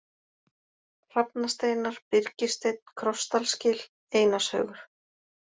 Hrafnasteinar, Byrgissteinn, Krossdalsgil, Einarshaugur